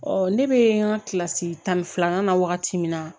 Ɔ ne bɛ n ka kilasi tan ni filanan na wagati min na